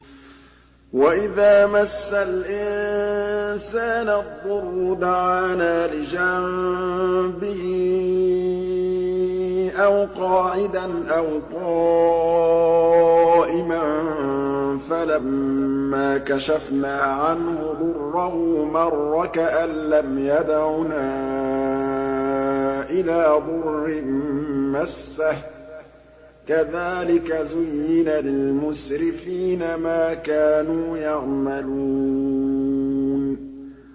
وَإِذَا مَسَّ الْإِنسَانَ الضُّرُّ دَعَانَا لِجَنبِهِ أَوْ قَاعِدًا أَوْ قَائِمًا فَلَمَّا كَشَفْنَا عَنْهُ ضُرَّهُ مَرَّ كَأَن لَّمْ يَدْعُنَا إِلَىٰ ضُرٍّ مَّسَّهُ ۚ كَذَٰلِكَ زُيِّنَ لِلْمُسْرِفِينَ مَا كَانُوا يَعْمَلُونَ